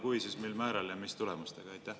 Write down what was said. Kui olete, siis mil määral ja mis tulemustega?